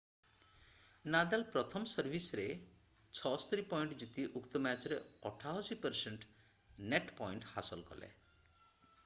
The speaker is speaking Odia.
ନାଦାଲ୍ ପ୍ରଥମ ସର୍ଭିସରେ 76 ପଏଣ୍ଟ ଜିତି ଉକ୍ତ ମ୍ୟାଚରେ 88% ନେଟ୍ ପଏଣ୍ଟ ହାସଲ କଲେ